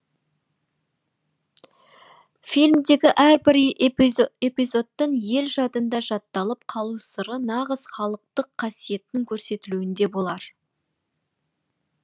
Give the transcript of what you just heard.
фильмдегі әрбір эпизодтың ел жадында жатталып қалу сыры нағыз халықтық қасиеттің көрсетілуінде болар